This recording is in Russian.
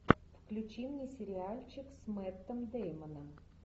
включи мне сериальчик с мэттом деймоном